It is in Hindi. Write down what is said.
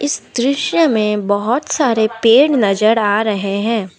इस दृश्य में बहोत सारे पेड़ नजर आ रहे हैं।